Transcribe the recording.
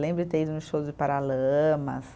Lembro de ter ido num show de Paralamas.